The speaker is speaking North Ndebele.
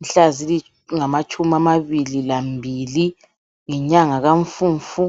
mhla zingamatshumi amabili lambili ngenyanga kaMfumfu.